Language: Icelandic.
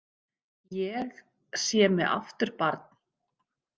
Ég sé mig aftur barn.